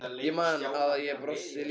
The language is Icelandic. Ég man að ég brosti líka.